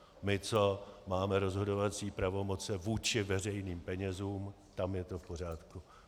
My, co máme rozhodovací pravomoci vůči veřejným penězům, tam je to v pořádku.